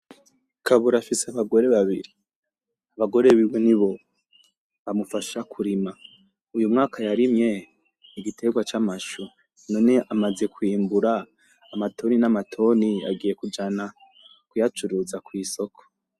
Kabura afise abagore babiri. Abagore biwe nibo bamufasha kurima . Uyumwaka yarimye igiterwa c'amashu none amaze kwimbura amatoni n'amatoni , agiye kujana kuyacuruza kwisoko.